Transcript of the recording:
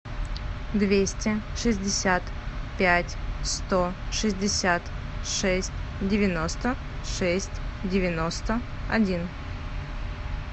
двести шестьдесят пять сто шестьдесят шесть девяносто шесть девяносто один